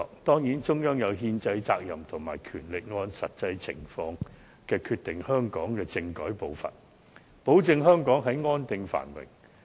當然，中央有憲制責任和權力按實際情況決定香港政改的步伐，保證香港安定繁榮。